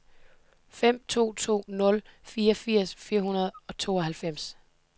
fem to to nul fireogfirs fire hundrede og tooghalvfems